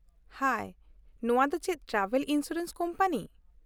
-ᱦᱟᱭ , ᱱᱚᱣᱟ ᱫᱚ ᱪᱮᱫ ᱴᱨᱟᱵᱷᱮᱞ ᱤᱱᱥᱩᱨᱮᱱᱥ ᱠᱳᱢᱯᱟᱱᱤ ?